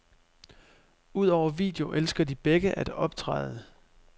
Udover video elsker de begge at optræde.